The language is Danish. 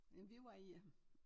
Øh vi var i øh